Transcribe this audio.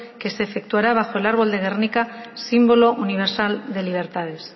que se efectuará bajo el árbol de gernika símbolo universal de libertades